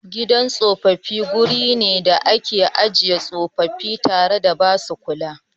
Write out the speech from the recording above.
Gidan tsofaffi guri ne da ake ajiye tsofaffi tare da ba su kula.